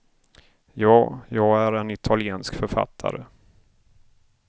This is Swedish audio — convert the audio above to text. Ja, jag är en italiensk författare.